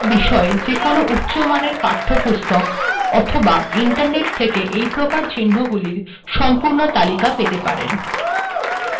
আপিনলেটেক বিষয়ক যে কোনো উচ্চমানের পাঠ্যপুস্তক অথবা ইন্টারনেট থেকে এইপ্রকার চিহ্নগুলির সম্পূর্ণ তালিকা পেতে পারেন